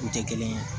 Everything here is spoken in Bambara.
U tɛ kelen ye